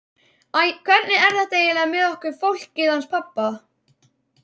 Æ, hvernig er þetta eiginlega með okkur fólkið hans pabba?